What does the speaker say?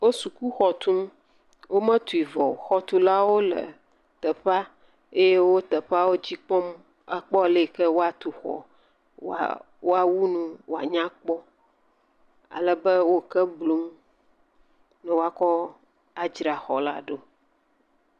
Wo sukuxɔ tum, wometui vɔ o, xɔtulawo le teƒea, eye wo teƒea dzi kpɔm, akpɔ aleyike woatu xɔ, woawu nu wòanyakpɔ, alebe wo ke blum, ne woakɔ adzra xɔ la ɖo.